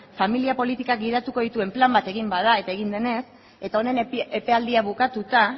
familia politikak gidatuko dituen plan bat egin bada eta egin denez eta honen epealdia bukatuta